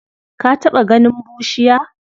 Ka taɓa ganin bushiya?